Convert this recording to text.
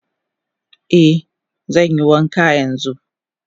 Eh zanyi wanka yanzu.